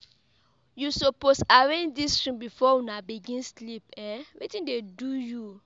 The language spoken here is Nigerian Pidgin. You suppose arrange dis room before una begin sleep, wetin dey do you?